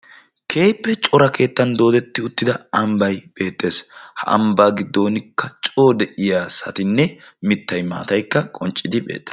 keehippe cora keettan doodetti uttida ambay beettes ha ambaa giddonkka coo de'iyaa asatinne mittay mataykka qonccidi beettes.